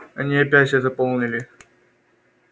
они опять всё заполнили